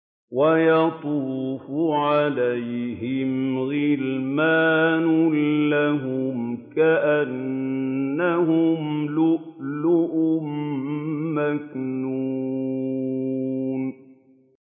۞ وَيَطُوفُ عَلَيْهِمْ غِلْمَانٌ لَّهُمْ كَأَنَّهُمْ لُؤْلُؤٌ مَّكْنُونٌ